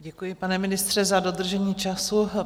Děkuji, pane ministře, za dodržení času.